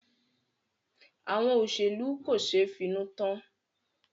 Àwọn olóṣèlú kò ṣeé finú tán.